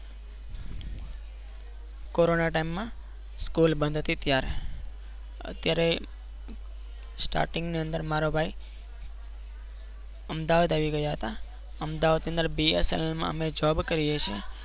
Corona ટાઈમમાં school બંધ હતી ત્યારે અત્યારે starting ની અંદર મારો ભાઈ અમદાવાદ આવી ગયા હતા. અમદાવાદ બીએસએલમાં મેં જોબ કરી છે.